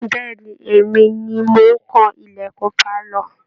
Bẹ̀ ni, èmi ni mò ń kan ìlẹ̀kùn pálọ̀